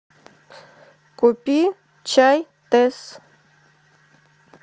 купи чай тесс